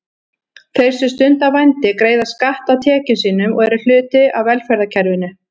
Þeir sem stunda vændi greiða skatta af tekjum sínum og eru hluti af velferðarkerfinu.